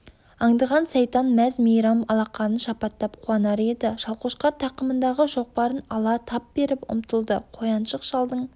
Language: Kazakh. аңдыған сайтан мәз-мейрам алақанын шапаттап қуанар еді шалқошқар тақымындағы шоқпарын ала тап беріп ұмтылды қояншық шалдың